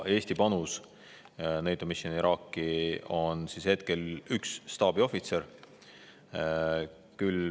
Eesti panus NATO Mission Iraqi on hetkel üks staabiohvitser.